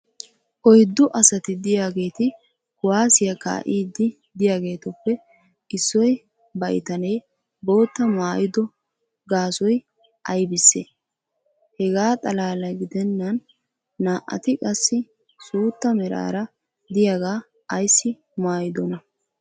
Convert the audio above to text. oyddu asati diyaageeti kuwaassiyaa kaa'iidi diyaageetuppe issi baitanee boottaa maayiddo gaasoy aybissee? hegaa xalaala gidennan naa"ati qassi suutta meraara diyaaga ayssi maayidonaa?